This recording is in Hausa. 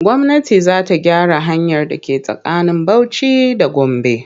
Gwamnati za ta gyaran hanyar da ke tsakanin Bauci da Gombe.